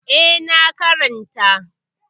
Eh, na karanta.